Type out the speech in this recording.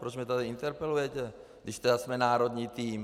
Proč mě tady interpelujete, když tedy jsme národní tým?